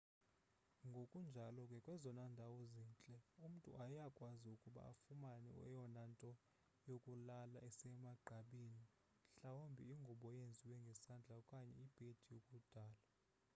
ngokunjalo ke kwezona ndawo zintle umntu uyakwazi ukuba afumane eyona nto yokulala isemagqabini mhlawumbi ingubo eyenziwe ngesandla okanye ibhedi yakudala